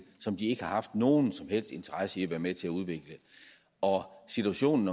som de ikke har haft nogen som helst interesse i at være med til at udvikle situationen